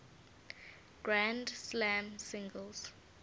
grand slam singles